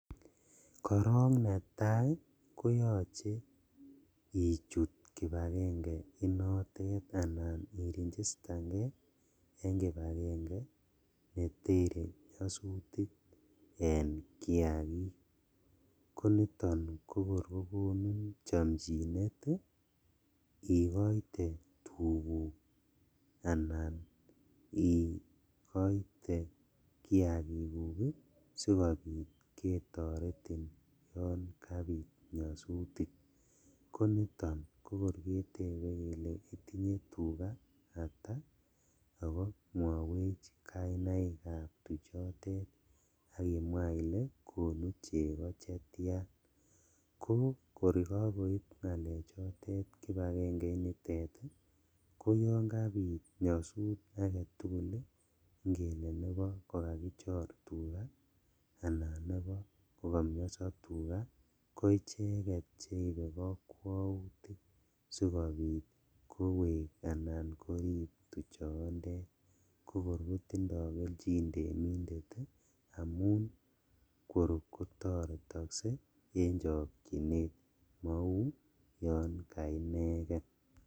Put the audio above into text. Korong netai koyoche ichut kipagenge inotet anan Iregistangee en kipagenge netere nyosutik en kiakik, koniton kokor kokonin chomchinet ii ikoite tuguk anan ikoite kiakikuk sikobit ketoretin yon kabit nyosutik, koniton kokor ketebekele itinye tugaa ata ako mwowech kainaikab tuchotet ak imwaa ile konu chego chetian kokor kokoib ngalechotet kipagenge initet ii koyon kabit nyosut aketugul ii ingele nebo kokakichor tugaa anan nebo kokomioso tugaa koicheket cheibe kokwoutik sikobit kowek anan korib tuchontet kokor kotindo keljin temindet ii amun kor kotoretokse en chokchinet mou yon kaineken.